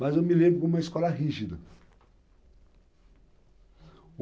Mas eu me lembro de uma escola rígida.